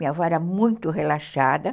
Minha avó era muito relaxada.